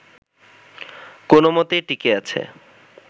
কোনোমতে টিকে আছে